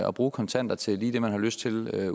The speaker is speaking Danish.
og bruge kontanter til lige det man har lyst til